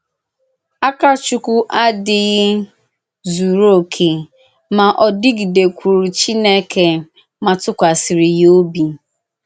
Àkàchùkwù àdíghì zùrù òkè, ma ọ dịgìdèkwùrù Chìnèkè ma tụ̀kwàsìrì ya òbì.